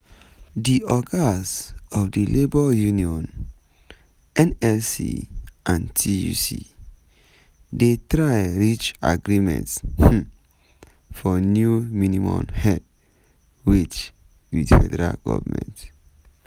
di ogas of di labour unions - nlc and tuc - dey try reach agreement um for new minimum um wage wit federal goment.